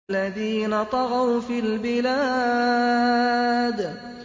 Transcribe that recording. الَّذِينَ طَغَوْا فِي الْبِلَادِ